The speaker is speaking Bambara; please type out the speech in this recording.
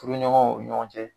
Furuɲɔgɔn ɲɔgɔn cɛ.